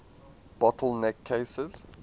bottle neck cases